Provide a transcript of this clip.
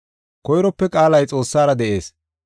Koyrope Qaalay Xoossara de7ees.